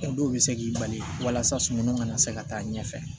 O dɔw bɛ se k'i bali walasa sunɔgɔ kana se ka taa ɲɛfɛ